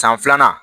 San filanan